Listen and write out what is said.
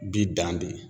Bi dan bɛ